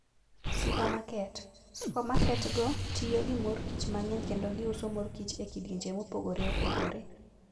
Supamaket: Supamaketgo tiyo gi mor kich mang'eny kendo giuso mor kich e kidienje mopogore opogore.